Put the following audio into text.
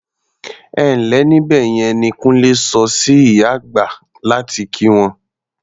"Ẹ ǹ lẹ́ níbẹ̀ yẹn" ni Kúnlé sọ sí ìyá àgbà láti kí wọn.